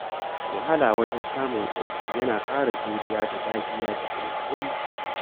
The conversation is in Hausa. Wahala wajen samun aiki yana ƙara juriya da dagiya da kuma haƙuri.